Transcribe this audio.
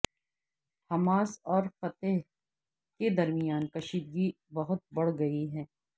Hamas اور Fatah کے درمیان کشیدگی بہت بڑھ گئی ہے